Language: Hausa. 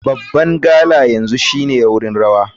Babban gala yanzu shine wurin rawa.